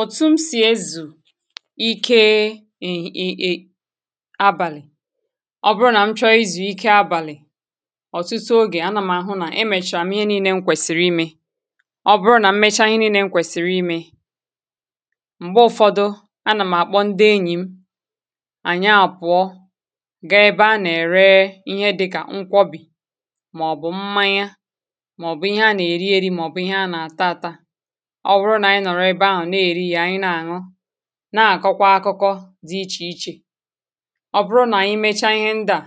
òtù m sì ezù ike abàlị̀ ọ bụrụ nà m chọ i zùike abàlị̀ ọ̀tụtụ ogè anà m àhụ nà emèchàwà m ihe nii̇nė nkwèsìrì imė ọ bụrụ nà m mecha i nėani̇ nkwèsìrì imė m̀gbe ụfọdụ anà m àkpọ ndi enyìm̀ ànya àpụ̀ọ gọ ebe a nà-ère ihe dịkà nkwọbì màọ̀bụ̀ mmanye ọ bụrụ nà anyị nọ̀rọ ebe ahụ̀ nà-èri ya ànyị nà-àṅụ nà-àkọkwa akụkọ dị ichè ichè ọ bụrụ nà ànyị mecha ihe ndị à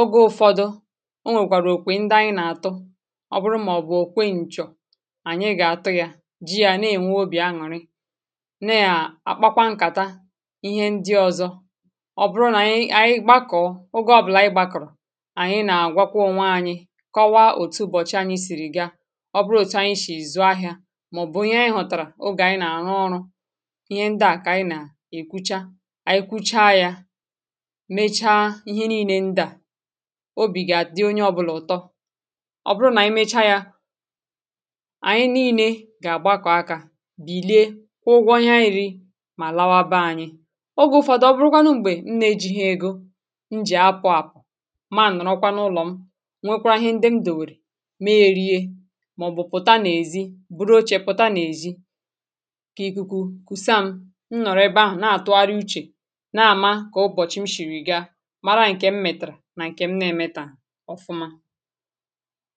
oge ụfọdụ o nwèkwàrà òkwè ndị anyị nà-àtụ ọ bụrụ màọbụ̀ o kwe ǹchọ̀ ànyị gà-àtụ ya ji ya na-ènwe obì aṅụ̀rị ne à àkpakwa nkàta ihe ndị ọzọ ọ bụrụ nà anyị ànyị gbakọ̀ ogė ọ̀bụ̀là ị gbàkọ̀rọ̀ ànyị nà-àgwakwa ònwe ànyị kọwa òtù bọ̀chị anyị sìrì ga màọbụ̀ ihe anyị hụ̀tàrà ogè anyị nà-àrụ ọrụ̇ ihe ndị à kà anyị nà-èkwucha ànyị kwụcha yȧ mechaa ihe nii̇nė ndị à obì gà-àdị onye ọbụlà ụ̀tọ ọ bụrụ nà ànyị mecha yȧ ànyị nii̇nė gà-àgbakọ̀ akȧ bìlie kwụọ ụgwọ ihe anyị rịi mà lawa be ȧnyị̇ ogė ụ̇fọ̇dụ̇ ọ bụrụkwa n’ugbȧ e na-ejìghị̇ egȯ m jì apụ̀ àpụ̀ maà nọ̀rọkwa n’ụlọ̀ m nwekwa ahịa ndị m dùwèrè mee rie kà ikuku kwụsịm m nọrọ ebe ahụ̀ na-atụgharị uchè na-ama kà ụbọ̀chị m shiri ga mara ǹkè m mètàrà nà ǹkè m na-emetà ọfụma